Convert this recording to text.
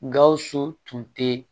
Gawusu tun tɛ